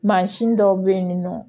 Mansin dɔw bɛ yen nɔ